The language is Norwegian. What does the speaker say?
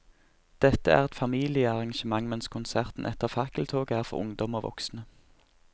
Dette er et familiearrangement, mens konserten etter fakkeltoget er for ungdom og voksne.